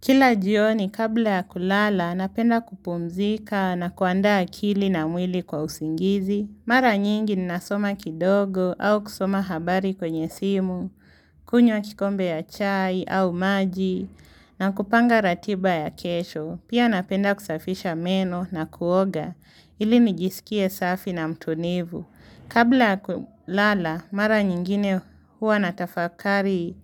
Kila jioni, kabla ya kulala, napenda kupumzika na kuandaa akili na mwili kwa usingizi. Mara nyingi ninasoma kidogo au kusoma habari kwenye simu, kunywa kikombe ya chai au maji na kupanga ratiba ya kesho. Pia napenda kusafisha meno na kuoga ili nijisikie safi na mtulivu. Kabla kulala, mara nyingine huwa natafakari